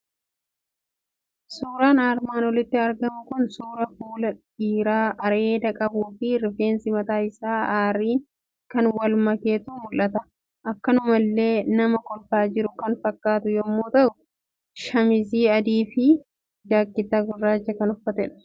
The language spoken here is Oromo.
Suuraan armaan olitti argamu kun suura fuula dhiiraa areeda qabuufi rifeensi mataa isaa arriin kan wal maketu mul'ata. Akkanumallee nama kolfaa jiru kan fakkaatu yommuu ta'u, shamisii adiifi jakkeettaa gurraacha kan uffatudha.